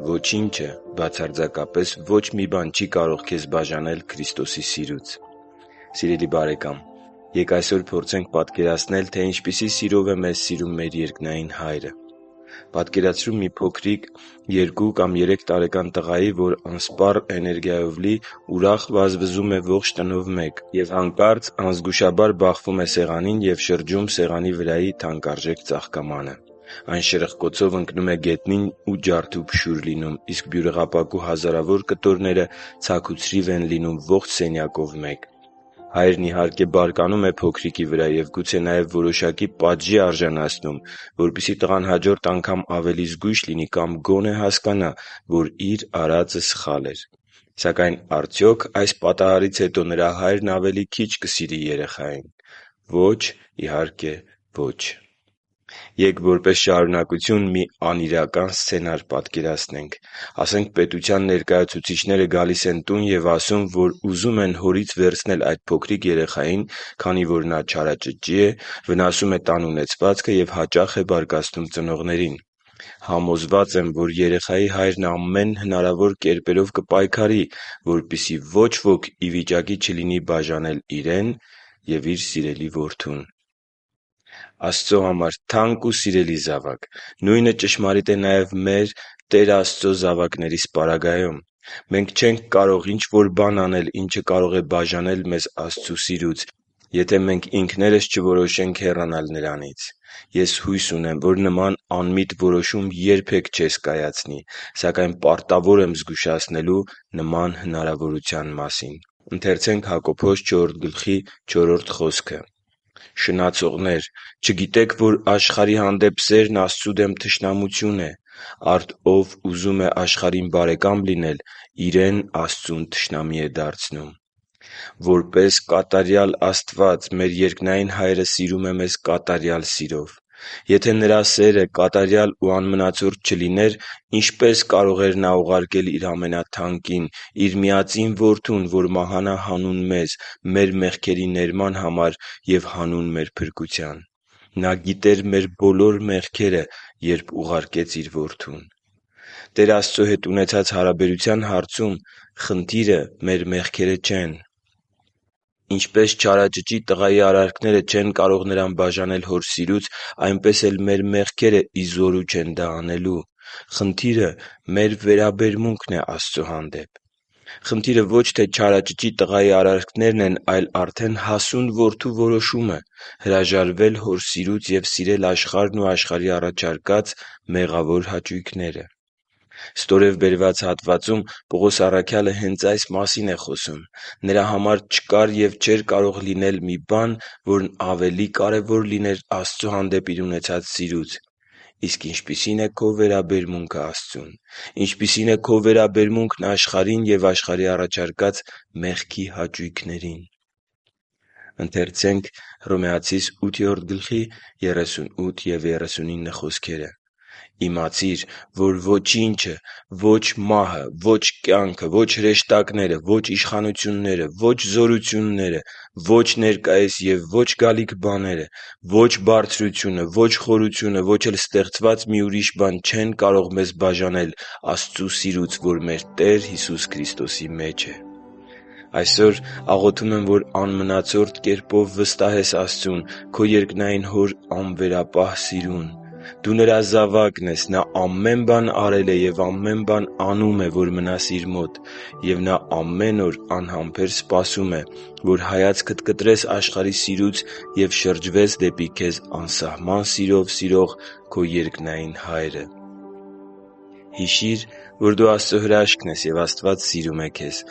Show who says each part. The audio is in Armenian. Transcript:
Speaker 1: Ոչինչը, բացարձակապես ոչ մի բան չի կարող քեզ բաժանել Քրիստոսի սիրուց Սիրելի՛ բարեկամ, ե՛կ այսօր փորձենք պատկերացնել, թե ինչպիսի սիրով է մեզ սիրում մեր երկնային Հայրը։ Պատկերացրու մի փոքրիկ, երկու կամ երեք տարեկան տղայի, որ անսպառ էներգիայով լի ուրախ վազվզում է ողջ տնով մեկ... և հանկարծ անզգուշաբար բախվում է սեղանին, շրջում է սեղանի վրայի թանկարժեք ծաղկամանը։ Այն շրխկոցով ընկնում է գետնին և ջարդուփշուր լինում, իսկ բյուրեղապակու հազարավոր կտորները ցաքուցրիվ են լինում ողջ սենյակով մեկ։ Հայրն, իհարկե, բարկանում է փոքրիկի վրա և, գուցե նաև, որոշակի պատժի արժանացնում, որպեսզի տղան հաջորդ անգամ ավելի զգույշ լինի, կամ գոնե հասկանա, որ իր արածը սխալ էր։ Սակայն արդյոք այս պատահարից հետո նրա հայրն ավելի քիչ կսիրի երեխայի՞ն։ Ո՛չ, իհարկե, ո՛չ։ Ե՛կ որպես շարունակություն մի անիրական սցենար պատկերացնենք․․․ Ասենք, պետության ներկայացուցիչները գալիս են տուն և ասում են, որ ուզում են հորից վերցնել այդ փոքրիկ տղային, քանի որ նա չարաճճի է, վնասում է տան ունեցվածքը և հաճախ է բարկացնում ծնողներին։ Համոզված եմ, որ երեխայի հայրն ամեն հնարավոր կերպերով կպայքարի, որպեսզի ոչ ոք ի վիճակի չլինի բաժանել իրեն և իր սիրելի որդուն։ Աստծո համար թանկ ու սիրելի՛ զավակ, նույնը ճշմարիտ է նաև մեր՝ Տեր Աստծո զավակներիս պարագայում: Մենք չենք կարող ինչ-որ բան անել, ինչը կարող է բաժանել մեզ Աստծո սիրուց, եթե մենք ինքներս չորոշենք հեռանալ Նրանից: Ես հույս ունեմ, որ նման անմիտ որոշում երբե՛ք չես կայացնի, սակայն պարտավոր եմ զգուշացնելու նման հնարավորության մասին։ «Շնացողնե՛ր, չգիտե՞ք, որ աշխարհի հանդեպ սերն Աստծու դեմ թշնամություն է։ Արդ ով ուզում է աշխարհին բարեկամ լինել, իրեն Աստծուն թշնամի է դարձնում» (Հակոբոս 4․4): Որպես կատարյալ Աստված մեր երկնային Հայրը սիրում է մեզ կատարյալ սիրով։ Եթե Նրա սերը կատարյալ ու անմնացորդ չլիներ, ինչպե՞ս կարող էր Նա ուղարկել Իր ամենաթանկին՝ Իր միածին Որդուն, որ մահանա հանուն մեզ, մեր մեղքերի ներման համար և հանուն մեր փրկության: Նա գիտեր մեր բոլոր մեղքերը, երբ ուղարկեց Իր Որդուն։ Տեր Աստծո հետ ունեցած հարաբերության հարցում խնդիրը մեր մեղքերը չեն: Ինչպես չարաճճի տղայի արարքները չեն կարող նրան բաժանել իր հոր սիրուց, այնպես էլ մեր մեղքերը ի զորու չեն դա անելու։ Խնդիրը մեր վերաբերմունքն է Աստծո հանդեպ։ Խնդիրը ոչ թե չարաճճի տղայի արարքներն են, այլ արդեն հասուն որդու որոշումը՝ հրաժարվել Հոր սիրուց և սիրել աշխարհն ու աշխարհի առաջարկած մեղավոր հաճույքները։ Ստորև բերված հատվածում Պողոս առաքյալը հենց այս մասին է խոսում։ Նրա համար չկար և չէր կարող լինել մի բան, որն ավելի կարևոր լիներ Աստծո հանդեպ իր ունեցած սիրուց։ Իսկ ինչպիսի՞ն է քո վերաբերմունքն Աստծուն։ Ինչպիսի՞ն է քո վերաբերմունքն աշխարհին և աշխարհի առաջարկած մեղքի հաճույքներին․․․ «Իմացիր, որ ոչինչ, ո՛չ մահը, ո՛չ կյանքը, ո՛չ հրեշտակները, ո՛չ իշխանությունները, ո՛չ զորությունները, ո՛չ ներկայիս և ո՛չ գալիք բաները, ո՛չ բարձրությունը, ո՛չ խորությունը, ո՛չ էլ ստեղծված մի ուրիշ բան չեն կարող մեզ բաժանել Աստծու սիրուց, որ մեր Տեր Հիսուս Քրիստոսի մեջ է» (Հռոմեացիս 8.38-39)։ Այսօր աղոթում եմ, որ անմնացորդ կերպով վստահես Աստծուն, քո երկնային Հոր անվերապահ սիրուն: Դու Նրա զավակն ես: Նա ամեն բան արել է և ամեն բան անում է, որ մնաս Իր մոտ: Եվ Նա ամեն օր անհամբեր սպասում է, որ հայացքդ կտրես աշխարհի սիրուց և շրջվես դեպի քեզ անսահման սիրով սիրող քո երկնային Հայրը․․․ Հիշի՛ր, որ դու Աստծո հրաշքն ես, և Աստված սիրում է քեզ։